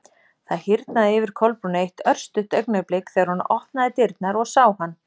Það hýrnaði yfir Kolbrúnu eitt örstutt augnablik þegar hún opnaði dyrnar og sá hann.